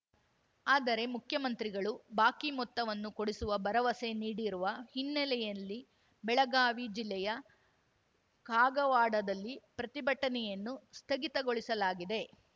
ಆದರೆ ಮುಖ್ಯಮಂತ್ರಿಗಳು ಬಾಕಿ ಮೊತ್ತವನ್ನು ಕೊಡಿಸುವ ಭರವಸೆ ನೀಡಿರುವ ಹಿನ್ನೆಲೆಯಲ್ಲಿ ಬೆಳಗಾವಿ ಜಿಲ್ಲೆಯ ಕಾಗವಾಡದಲ್ಲಿ ಪ್ರತಿಭಟನೆಯನ್ನು ಸ್ಥಗಿತಗೊಳಿಸಲಾಗಿದೆ